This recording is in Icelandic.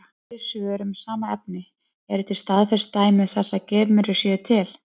Fleiri svör um sama efni: Eru til staðfest dæmi þess að geimverur séu til?